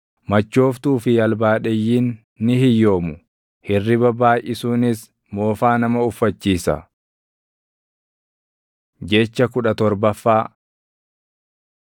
machooftuu fi albaadheyyiin ni hiyyoomu; hirriba baayʼisuunis moofaa nama uffachiisa. Jecha kudha torbaffaa